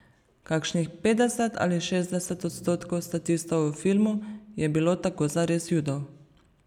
Kakšnih petdeset ali šestdeset odstotkov statistov v filmu je bilo tako zares Judov.